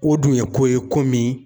O dun ye ko ye ko min